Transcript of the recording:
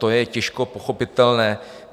To je těžko pochopitelné.